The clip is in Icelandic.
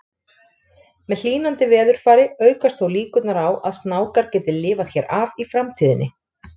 Með hlýnandi veðurfari aukast þó líkurnar á að snákar geti lifað hér af í framtíðinni.